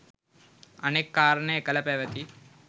අනෙක් කාරණය එකල පැවැති